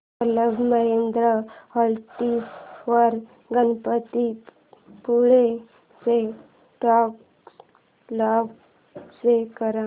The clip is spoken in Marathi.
क्लब महिंद्रा हॉलिडेज वर गणपतीपुळे ची ट्रॅवल इन्फो शो कर